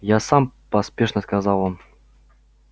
я сам поспешно сказал он